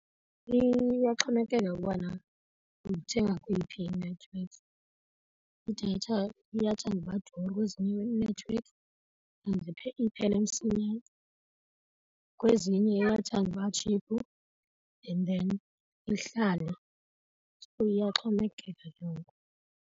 Iyaxhomekeka ukubana uyithenga kweyiphi inethiwekhi. Idatha iyathanda uba duru kwezinye inethiwekhi iphele msinyane, kwezinye iyathanda uba tshiphu and then ihlale. So iyaxhomekeka ke ngoku.